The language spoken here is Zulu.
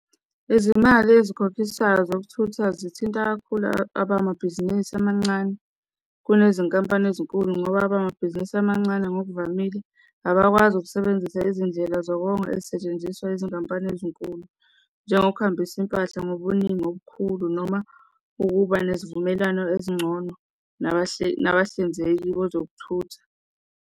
Izimali ezikhokhiswayo zokuthutha zithinta kakhulu abamabhizinisi amancane, kunezinkampani ezinkulu ngoba abamabhizinisi amancane ngokuvamile abakwazi ukusebenzisa izindlela zokonga ezisetshenziswa izinkampani ezinkulu, njengokuhambisa izimpahla ngobuningi obukhulu noma ukuba nesivumelano ezingcono nabahlinzeki bezokuthutha.